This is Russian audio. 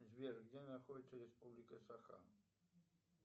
сбер где находится республика саха